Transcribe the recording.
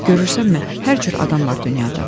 Görürsənmi, hər cür adam var dünyada.